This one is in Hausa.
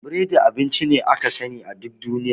Biredi abinci ne aka sani a duk duniya.